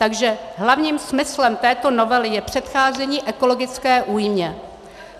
Takže hlavním smyslem této novely je předcházení ekologické újmě.